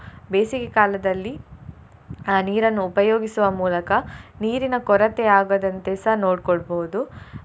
ಬೇಸಿಗೆಕಾಲದಲ್ಲಿ ಆ ನೀರನ್ನು ಉಪಯೋಗಿಸುವ ಮೂಲಕ ನೀರಿನ ಕೊರತೆ ಆಗದಂತೆಸ ನೋಡ್ಕೊಳ್ಬೋದು.